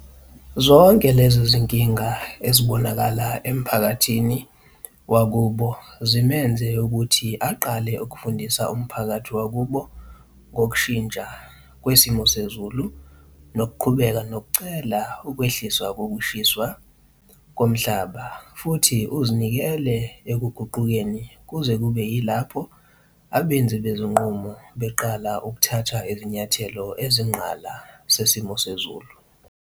Zonke lezi zinkinga ezibonakala emphakathini wakubo zimenze ukuthi aqale ukufundisa umphakathi wakubo ngokushintsha kwesimo sezulu nokuqhubeka nokucela ukwehliswa kokukhishwa komhlaba futhi uzinikele ekuguqukeni kuze kube yilapho abenzi bezinqumo beqala ukuthatha izinyathelo ezinqala zesimo sezulu.